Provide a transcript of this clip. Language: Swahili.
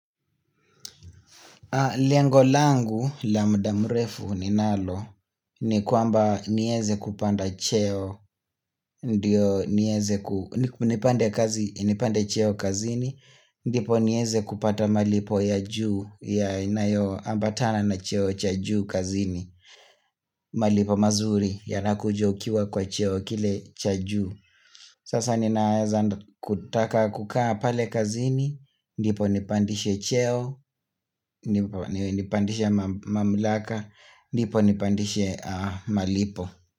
Lengo langu, la mda mrefu ninalo, ni kwamba nieze kupanda cheo, nipande cheo kazini, ndipo nieze kupata malipo ya juu, ya inayo ambatana na cheo cha juu kazini, malipo mazuri, ya nakuja ukiwa kwa cheo kile cha juu. Sasa ninaweza kutaka kukaa pale kazini ndipo nipandishe cheo ndipo nipandishe mamlaka ndipo nipandishe malipo.